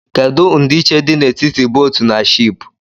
Kedu ndịịche dị n'etiti bóótù na shịịpù?